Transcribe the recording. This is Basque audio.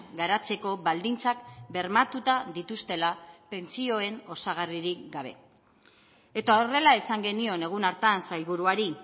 garatzeko baldintzak bermatuta dituztela pentsioen osagarririk gabe eta horrela esan genion egun hartan sailburuari